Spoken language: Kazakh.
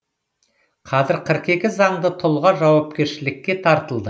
қазір қырық екі заңды тұлға жауапкершілікке тартылды